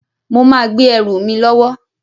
Mo máa gbé ẹrù mi lọ́wọ́